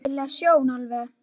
Ægi leg sjón alveg.